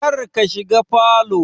Kar ka shiga falow